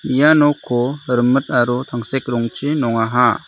ia nokko rimit aro tangsek rongchi nongaha.